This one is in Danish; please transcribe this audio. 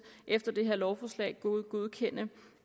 efter det her lovforslag godkende